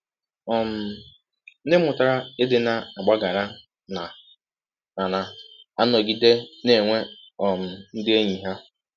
um Ndị mụtara ịdị na - agbaghara na na - um anọgide na - enwe um ndị enyi ha.